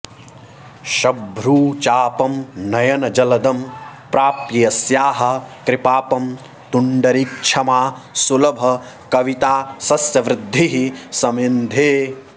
सभ्रूचापं नयनजलदं प्राप्य यस्याः कृपापं तुण्डीरक्ष्मा सुलभकवितासस्यवृद्धिः समिन्धे